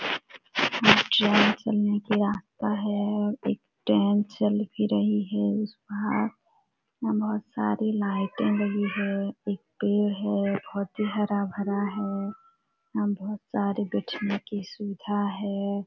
यहाँ ट्रैन चलने की रास्ता है और एक ट्रैन चल भी रही है उस पार वहाँ बहुत सारी लइटे लगी है एक पेड़ है बहुत ही हरा-भरा है यहाँ बहुत सारी बैठने की सुविधा है।